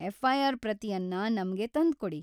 FIR. ಪ್ರತಿಯನ್ನ ನಮ್ಗೆ ತಂದ್ಕೊಡಿ.